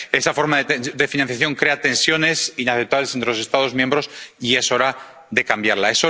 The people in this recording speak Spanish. Esa forma de financiación crea tensiones inaceptables entre los Estados miembros y es hora de cambiarla.